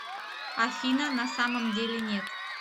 афина на самом деле нет